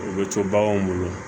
U bɛ to baganw bolo